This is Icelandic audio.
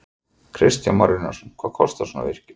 Kristján Már Unnarsson: Hvað kostar svona virkjun?